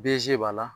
Bzi b'a la